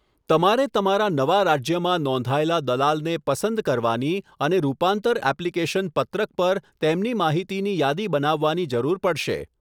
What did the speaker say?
તમારે તમારા નવા રાજ્યમાં નોંધાયેલા દલાલને પસંદ કરવાની અને રૂપાંતર એપ્લિકેશન પત્રક પર તેમની માહિતીની યાદી બનાવવાની જરૂર પડશે.